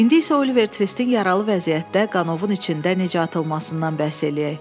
İndi isə Oliver Tvistin yaralı vəziyyətdə qanovun içində necə atılmasından bəhs eləyək.